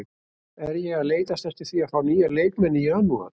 Er ég að leitast eftir því að fá nýja leikmenn í janúar?